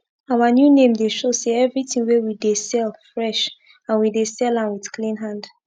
our new name dey show say everi tin wey we dey sell fresh and we dey sell am with clean hand